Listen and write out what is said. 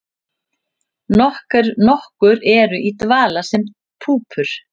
Nokkur eru í dvala sem púpur.